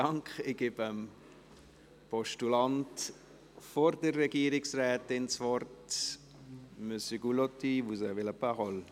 Bevor ich das Wort der Regierungsrätin gebe, gebe ich es nochmals dem Postulanten.